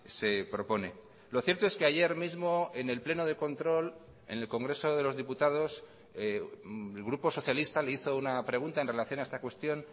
se propone lo cierto es que ayer mismo en el pleno de control en el congreso de los diputados el grupo socialista le hizo una pregunta en relación a esta cuestión